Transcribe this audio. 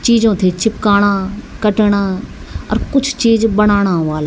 चीजों थे चिपकाणा कटणा और कुछ चीज बनाणा वाला।